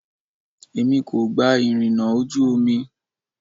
Èmi kò gba ìrìnà ojú omi.